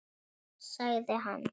Já, já sagði hann.